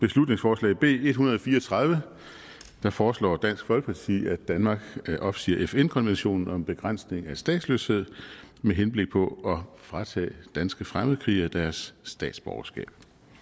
beslutningsforslag b en hundrede og fire og tredive foreslår dansk folkeparti at danmark opsiger fn konventionen om begrænsning af statsløshed med henblik på fratage danske fremmedkrigere deres statsborgerskab